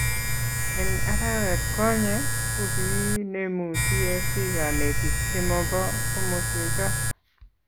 eng arawetkonye, ko kiinemu tsc kanetik chemobo komoswechoto